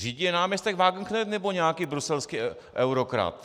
Řídí ji náměstek Wagenknecht, nebo nějaký bruselský eurokrat?